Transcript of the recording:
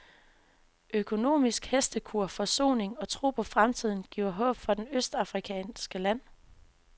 Økonomisk hestekur, forsoning og tro på fremtiden giver håb for det østafrikanske land.